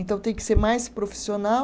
Então, tem que ser mais profissional.